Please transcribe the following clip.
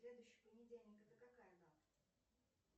следующий понедельник это какая дата